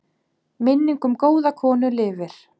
Minning um góða konu lifir.